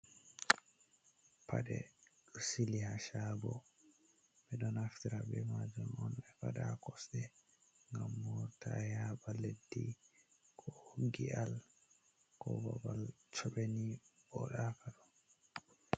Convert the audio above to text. Paɗe sili ha shago. men ɗo naftira ɓe majum on ɓa waɗa ha kosɗe. Ngam murtai tavyaɓ leɗɗi. ko gi’al, ko ɓaɓal choɓeni ɗakaɗo.